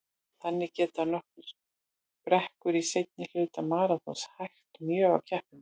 Þannig geta nokkrar brekkur í seinni hluta maraþons hægt mjög á keppendum.